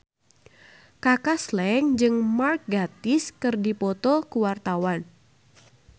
Kaka Slank jeung Mark Gatiss keur dipoto ku wartawan